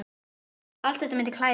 Allt þetta myndi klæða